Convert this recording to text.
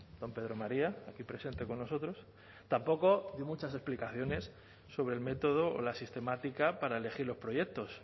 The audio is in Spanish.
don pedro maría aquí presente con nosotros tampoco dio muchas explicaciones sobre el método o la sistemática para elegir los proyectos